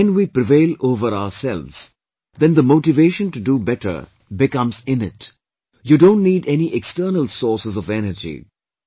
And when we prevail over ourselves, then the motivation to do better becomes innate, you don't need any external sources of energy